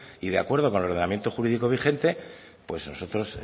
y de acuerdo con el ordenamiento jurídico vigente pues nosotros